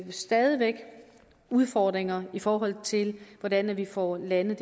stadig væk udfordringer i forhold til hvordan vi får landet